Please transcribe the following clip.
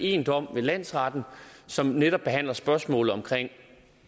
en dom ved landsretten som netop behandler spørgsmålet om